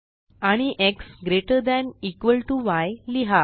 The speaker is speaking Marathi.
आणि x greater than equal to yलिहा